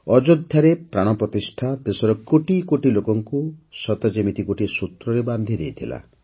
ଅଯୋଧ୍ୟାରେ ପ୍ରାଣ ପ୍ରତିଷ୍ଠା ଦେଶର କୋଟି କୋଟି ଲୋକଙ୍କୁ ସତେ ଯେମିତି ଗୋଟିଏ ସୂତ୍ରରେ ବାନ୍ଧି ଦେଇଥିଲା